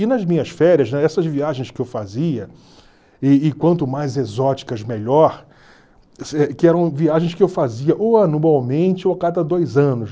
E nas minhas férias, já essas viagens que eu fazia, e e quanto mais exóticas, melhor, que eram viagens que eu fazia ou anualmente ou a cada dois anos.